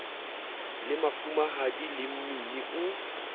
le mafumahadi le mmini o